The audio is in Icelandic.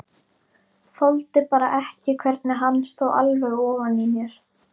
Þoldi bara ekki hvernig hann stóð alveg ofan í mér.